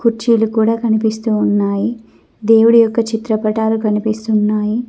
కుర్చీల కూడా కనిపిస్తూ ఉన్నాయి దేవుడి యొక్క చిత్రపటాలు కనిపిస్తున్నాయి.